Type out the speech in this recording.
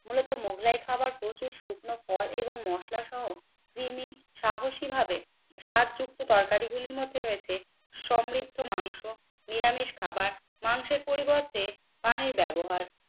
মূলত মোগলাই খাবার প্রচুর শুকনো ফল এবং মশলাসহ কৃমি সাহসী ভাবে সাজযুক্ত তরকারি গুলির মধ্যে রয়েছে সমৃদ্ধ মাংস নিরামিষ খাবার মাংসের পরিবর্তে পানির ব্যবহার।